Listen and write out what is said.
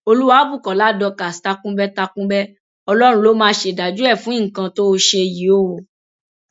olùwàbùkọlà dorcas takunbẹ takunbẹ ọlọrun ló máa ṣèdájọ ẹ fún nǹkan tó o ṣe yìí o